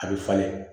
A bɛ falen